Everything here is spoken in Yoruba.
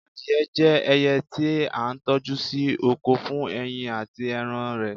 adìye je ẹyẹ ti a toju sí oko fún ẹyin ati eran rẹ